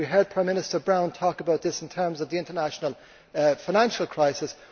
We heard Prime Minister Brown talking about this in terms of the international financial